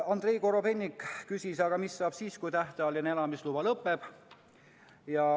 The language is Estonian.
Andrei Korobeinik küsis, mis saab siis, kui tähtajaline elamisluba lõpeb.